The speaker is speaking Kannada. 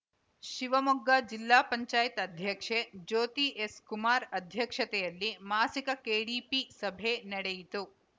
ಶಿವಮೊಗ್ಗ ಜಿಲ್ಲಾ ಪಂಚಾಯತ್ ಅಧ್ಯಕ್ಷೆ ಜ್ಯೋತಿ ಎಸ್‌ ಕುಮಾರ್‌ ಅಧ್ಯಕ್ಷತೆಯಲ್ಲಿ ಮಾಸಿಕ ಕೆಡಿಪಿ ಸಭೆ ನಡೆಯಿತು